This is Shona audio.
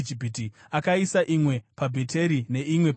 Akaisa imwe paBheteri, neimwe paDhani.